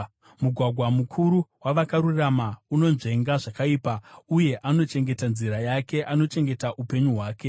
Mugwagwa mukuru wavakarurama unonzvenga zvakaipa; uye anochengeta nzira yake anochengeta upenyu hwake.